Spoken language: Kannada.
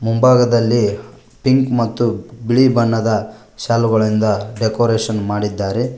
ಮುಂಭಾಗದಲ್ಲಿ ಪಿಂಕ್ ಮತ್ತು ಬಿಳಿ ಬಣ್ಣದ ಶಾಲುಗಳಿಂದ ಡೆಕೋರೇಷನ್ ಮಾಡಿದ್ದಾರೆ.